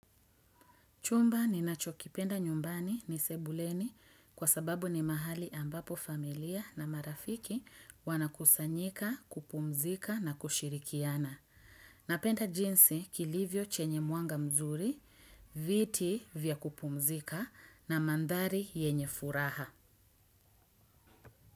Chumba ninacho kipenda nyumbani ni sebuleni kwa sababu ni mahali ambapo familia na marafiki wanakusanyika, kupumzika na kushirikiana. Napenda jinsi kilivyo chenye mwanga mzuri, viti vya kupumzika na mandari yenye furaha.